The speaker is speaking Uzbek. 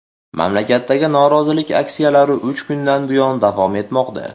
Mamlakatdagi norozilik aksiyalari uch kundan buyon davom etmoqda.